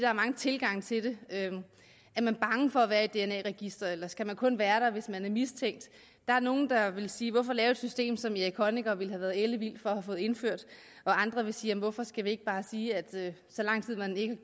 er mange tilgange til det er man bange for at være i et dna register eller skal man kun være der hvis man er mistænkt der er nogle der ville sige at hvorfor lave et system som erich honecker ville have været ellevild for at få indført andre vil sige hvorfor skal vi ikke bare sige at så lang tid man ikke